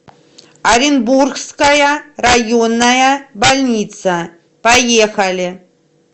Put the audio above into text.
оренбургская районная больница поехали